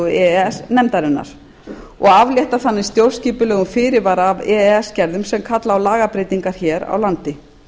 e s nefndarinnar og aflétta þannig stjórnskipulegum fyrirvara af e e s gerðum sem kalla á lagabreytingar hér á landi